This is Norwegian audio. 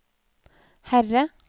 Herre